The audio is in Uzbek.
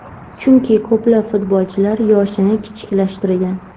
Chunki ko‘plab futbolchilar yoshini kichiklashtirgan.